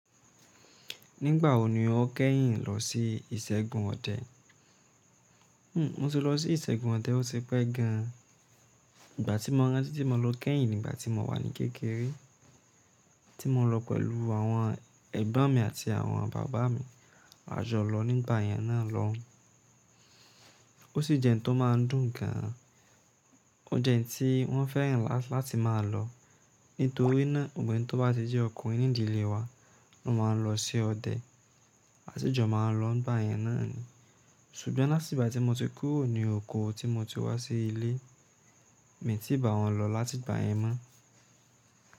Nígbà òní, ó kẹ́yìn lọ sí ìsègùn ọdẹ. Mo ti lọ sí ìsègùn ọdẹ, ó ti pẹ́ gan an. Ìgbà tí mo rántí tí mo lọ kẹ́yìn nígbà tí mo wà ní kékeré, tí mo lọ pẹ̀lú àwọn ẹ̀gbọ́n mi àti àwọn bàbá mi, a jọ lọ nígbà yẹn náà lọun O sí jẹ́ ohun tó máa ń dùn gan an. O jẹ́ ohun tí wọ́n fẹ́ràn láti máa lọ, nítorí náà, gbogbo enití ó bá ti di ọkùnrin nídìlé wa, a máa lọ sí ọdẹ, a sì jọ máa lọ nígbà yẹn náà ni. Ṣùgbọ́n láti gba tí mo ti kúrò ní oko tí mo ti wá sí ilé, mi tí bà wọ́n lọ láti ìgbà yẹn mọ́.